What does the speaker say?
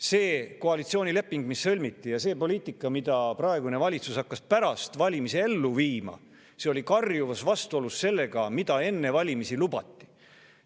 See koalitsioonileping, mis sõlmiti, ja see poliitika, mida praegune valitsus hakkas pärast valimisi ellu viima, olid karjuvas vastuolus sellega, mida enne valimisi lubati.